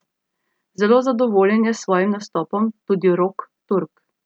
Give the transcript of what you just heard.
Zelo zadovoljen je s svojim nastopom tudi Rok Turk.